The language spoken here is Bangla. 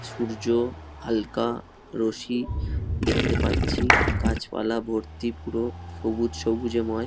সূর্য হালকা রোসি দেখতে পাচ্ছি। গাছপালা ভর্তি পুরো সবুজ সবুজেময়।